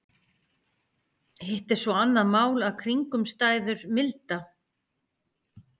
Hitt er svo annað mál að kringumstæður milda.